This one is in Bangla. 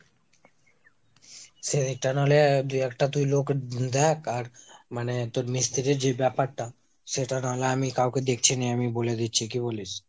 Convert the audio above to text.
সেইটা নালে দুই একটা লোক তুই দ্যাখ। আর মানে তোর মিস্তিরির যে ব্যাপারটা সেটা নাহলে আমি কাউকে দেখছি নিয়ে আমি বলে দিচ্ছি কি বলিস?